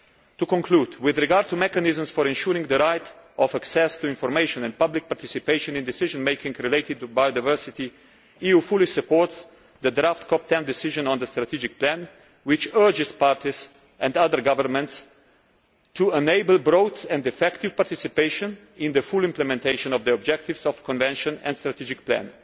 To conclude, with regard to mechanisms for ensuring the right of access to information and public participation in decision making related to biodiversity, the EU fully supports the draft COP 10 decision on the strategic plan, which urges parties and other governments to enable broad and effective participation in the full implementation of the objectives of the convention and strategic plan.